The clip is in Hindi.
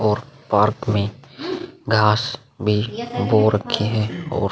और पार्क में घांस भी उगो रक्खी हैं और --